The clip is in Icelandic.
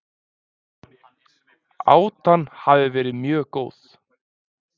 Átan hafi verið mjög góð